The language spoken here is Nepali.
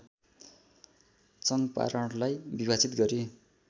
चङ्पारणलाई विभाजित गरी